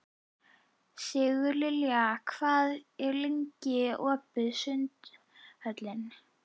Sigurlilja, hvað er lengi opið í Sundhöllinni?